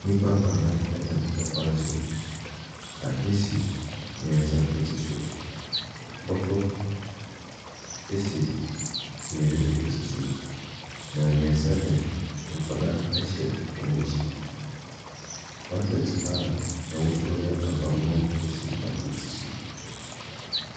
Nnipa anan nam hkwan so. Ade si mmiɛnsa ti so. Bɔtɔ si mmienu ti so. Na mmiɛnsa de, nkwaraa hyɛ wɔn akyi. Bucket a ɛho yɛ ahabanmono si baako ti so.